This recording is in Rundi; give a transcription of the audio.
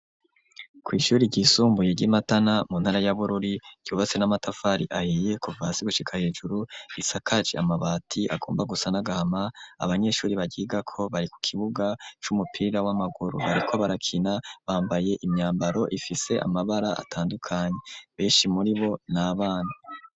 kw’ishuri ryisumbuye ry'imatana mu ntara yabururi ryubatse n'amatafari ahiye kuvasi gushika hejuru isakaci amabati agomba gusa nagahama abanyeshuri bagiga ko bari ku kibuga c'umupira w'amaguru hariko barakina bambaye imyambaro ifise amabara atandukanye benshi muri bo n'abana.